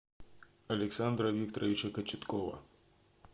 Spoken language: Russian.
александра викторовича кочеткова